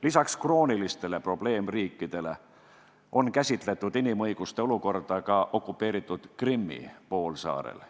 Lisaks kroonilistele probleemriikidele on käsitletud inimõiguste olukorda ka okupeeritud Krimmi poolsaarel.